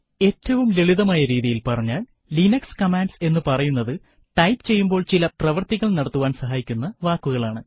ഏറ്റവും ലളിതമായ രീതിയിൽ പറഞ്ഞാൽ ലിനക്സ് കമാൻഡ്സ് എന്ന് പറയുന്നതു ടൈപ്പ് ചെയ്യുമ്പോൾ ചില പ്രവർത്തികൾ നടത്തുവാൻ സഹായിക്കുന്ന വാക്കുകളാണ്